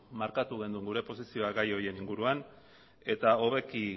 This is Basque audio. markatu genuen gure posizioa gai horien inguruan eta hobeki